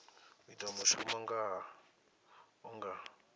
u ita mushumo hu nga